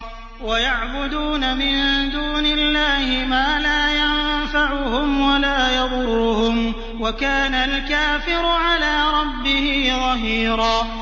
وَيَعْبُدُونَ مِن دُونِ اللَّهِ مَا لَا يَنفَعُهُمْ وَلَا يَضُرُّهُمْ ۗ وَكَانَ الْكَافِرُ عَلَىٰ رَبِّهِ ظَهِيرًا